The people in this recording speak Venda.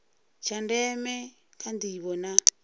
tsha ndeme kha ndivho na